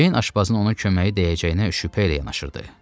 Ceyn aşbazın onun köməyi dəyəcəyinə şübhə ilə yanaşırdı.